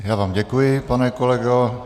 Já vám děkuji, pane kolego.